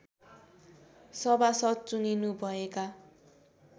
सभासद् चुनिनु भएका